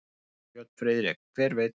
Björn Friðrik: Hver veit.